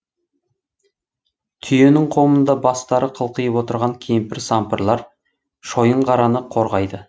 түйенің қомында бастары қылқиып отырған кемпір сампырлар шойынқараны қорғайды